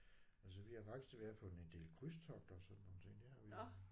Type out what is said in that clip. Altså vi har faktisk været på en del krydstogter og sådan nogle ting det har vi